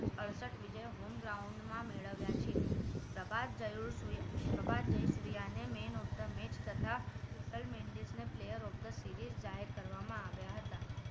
અડસઠ વિજય home ground માં મેળવ્યા છે Prabath Jayasuriya man of the match તથા કુશલ મેન્ડસ ને player of the series જાહેર કરવામાં આવ્યા હતા